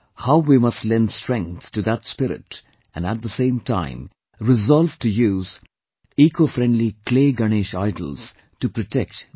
How we must lend strength to that spirit and at the same time resolve to use ecofriendly clay Ganesha idols, to protect the environment